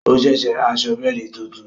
O ṣẹ̀ṣẹ̀ rà aṣọ bẹ́ẹ̀di tuntun